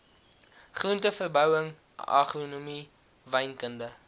groenteverbouing agronomie wynkunde